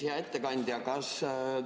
Hea ettekandja!